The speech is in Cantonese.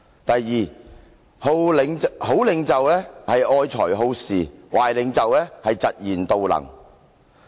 "第二，好領袖愛才好士，壞領袖嫉賢妒能。